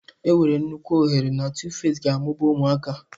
Enwere nnukwu ohere na Tuface ga-amụba ụmụaka.